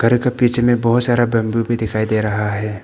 एक पीछे में बहुत सारा बम्बू भी दिखाई दे रहा है।